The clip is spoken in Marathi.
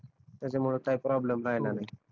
त्याच्यामुळे काही प्रोब्लेम राहिला नाही